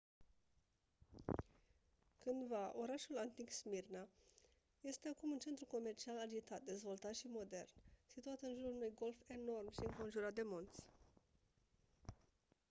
cândva orașul antic smirna este acum un centru comercial agitat dezvoltat și modern situat în jurul unui golf enorm și înconjurat de munți